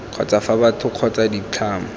kgotsa fa batho kgotsa ditlamo